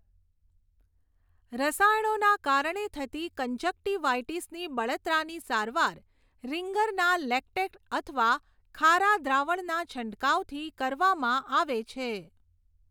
રસાયણોના કારણે થતી કંજક્ટીવાઈટીસની બળતરાની સારવાર રિંગરના લેક્ટેટ અથવા ખારા દ્રાવણના છંટકાવથી કરવામાં આવે છે.